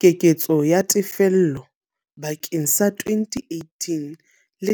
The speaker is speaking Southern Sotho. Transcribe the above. Keketso ya tefello bakeng sa 2018-19